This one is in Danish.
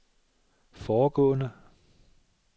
foregående